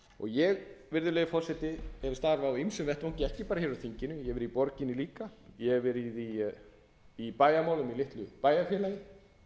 ég virðulegi forseti hef starfað á ýmsum vettvangi ekki bara á þinginu ég hef verið í borginni líka ég hef verið í bæjarmálum í litlu bæjarfélagi